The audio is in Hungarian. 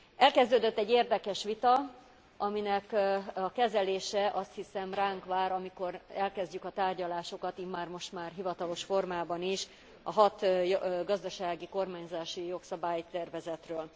Elkezdődött egy érdekes vita, aminek a kezelése, azt hiszem ránk vár, amikor elkezdjük a tárgyalásokat immár hivatalos formában is a hat gazdasági kormányzási jogszabálytervezetről.